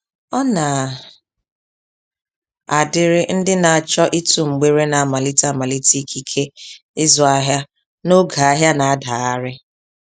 Ọna adiri ndị na-achọ ịtụ mgbere namalite amalite ikike, ịzụ ahịa n'oge ahịa na-adagharị